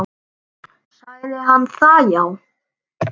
Sagði hann það já.